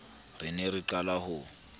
re ne re qala ho